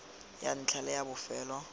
ya ntlha le ya bofelo